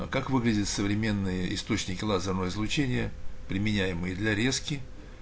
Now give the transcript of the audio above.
а как выглядят современные источники лазерного излучения применяемые для резки